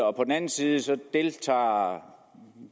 og på den anden side deltager